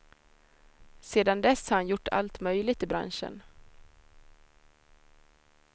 Sedan dess har han gjort allt möjligt i branschen.